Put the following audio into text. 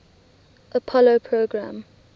apollo program